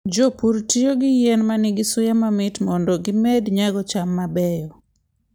Jopur tiyo gi yien ma nigi suya mamit mondo gimed nyago cham mabeyo.